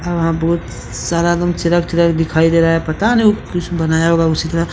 यहां बहुत सारा ग़म चिरक चिरक दिखाई दे रहा हैं पता नहीं बनाया होगा कुछ उसी तरह।